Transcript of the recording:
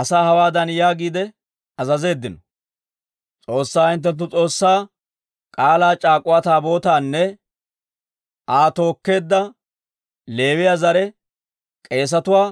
Asaa hawaadan yaagiide azazeeddino; «S'oossaa hinttenttu S'oossaa K'aalaa c'aak'uwa Taabootaanne Aa tookkeedda Leewiyaa zare k'eesetuwaa